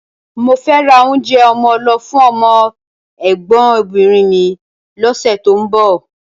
Mo fẹ́ ra oúnjẹ ọmọ lọ fún ọmọ ẹ̀gbọ́nbìnrin mi lọ́sẹ̀ tó ń bọ̀